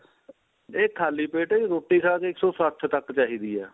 ਇਹ ਖਾਲੀ ਪੇਟ ਰੋਟੀ ਖਾ ਕੇ ਇੱਕ ਸੋ ਸੱਠ ਤੱਕ ਚਾਹੀਦੀ ਏ